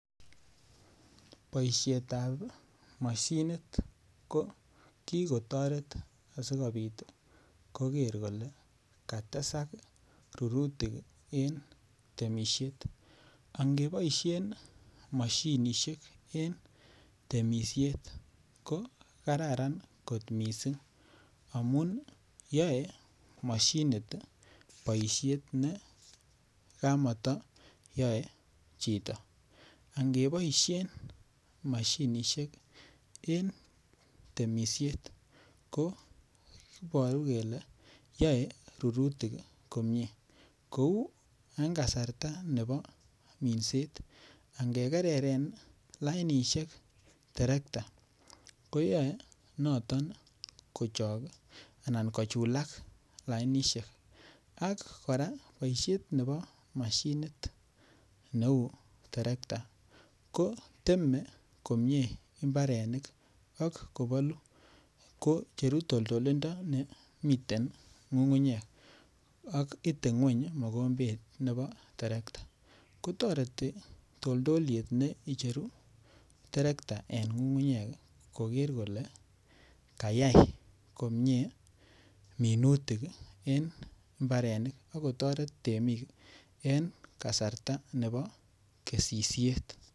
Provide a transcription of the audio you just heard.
boisyeet ab moshinit ko kigotoreet sigobiit kogeer kole katesak rurutik en temisyeet, ak ngeboisheen moshinisyeek en temisyeet ko kararan kot mising amun yoe moshinit iih boisheet ne kamoto yoe chito, angeboisheen moshinishek en temisheet koboru kele yoe rurutik komyee kouu en kasarta nebo minseet angegereren lainishek terekta koyoe noton kotook anaan kochulaak lainisheek, ak koraa boisheet nebo moshinit neuu terekta koteme komyee imbarenik ak kobolu, icheru toltolindo nemiteen ngungunyeek ak ite ngweeny mogombeet nebo terekta, kotoreti toldoyeet neicheru terekta en ngungunyeek kogeer kole kayaai komyee minutik ak kotoret temiik en kasarta nebo kesisyeet